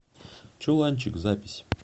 чуланчик запись